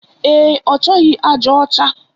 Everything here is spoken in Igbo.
Ee, ọchọghi aja ọcha